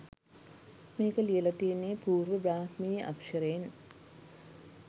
මේක ලියල තියෙන්නේ පූර්ව බ්‍රාහ්මීය අක්ෂරයෙන්.